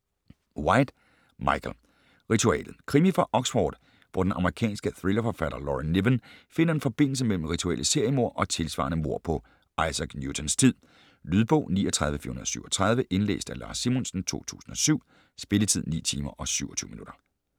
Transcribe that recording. White, Michael: Ritualet Krimi fra Oxford, hvor den amerikanske thrillerforfatter Laura Niven finder en forbindelse mellem rituelle seriemord og tilsvarende mord på Isaac Newtons tid. Lydbog 39437 Indlæst af Lars Simonsen, 2007. Spilletid: 9 timer, 27 minutter.